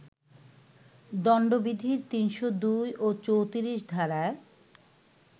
দণ্ডবিধির ৩০২ ও ৩৪ ধারায়